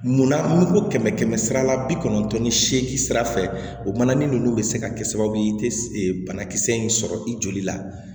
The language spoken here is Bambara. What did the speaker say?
Munna n'u ko kɛmɛ kɛmɛ sara la bi kɔnɔntɔn ni seegin sira fɛ o mana ni ninnu bɛ se ka kɛ sababu ye i tɛ banakisɛ in sɔrɔ i joli la